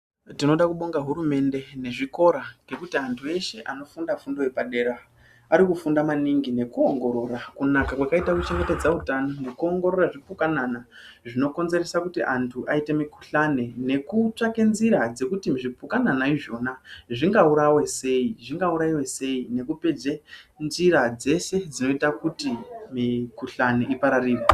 Tinoda kubonga hurumende nezvikora ngekuti anhu eshe anofunda fundo yepadera arikufunda maningi nekuongorora kunaka kwakaite kuchengetedze utano nekuongorora zvipukanana zvinokonzeresa kuti anhu aite mihkuhlane nekutsvaka nzira dzekuti zvipukanana izvona zvingaurayiwa sei nekupedze nzira dzese dzinoite kuti mikhuhlane ipararire.